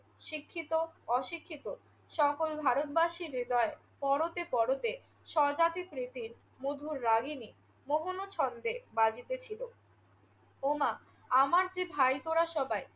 শিক্ষিত, অশিক্ষিত সকল ভারতবাসীর হৃদয়ে পরতে পরতে স্বজাতি প্রীতির মধুর রাগিনী মোহন ছন্দে বাজিতেছিল। উমা আমার যে ভাই তোরা সবাই।